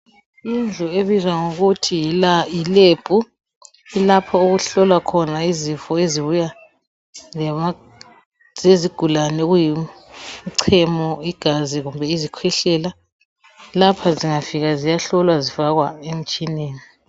Indlu ebizwa ngokuthi yiLab yilapho okuhlolwa izifo ezibuya lezigulane okuyimchemo, igazi kumbe izikhwehlela. Lapha zingafika ziyahlolwa zifakwa emitshineni.